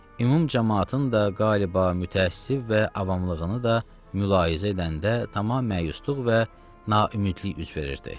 Ümumi camaatın da qalıb mütəəssir və avamlığını da mülahizə edəndə tamam məyusluq və naümidlik üz verirdi.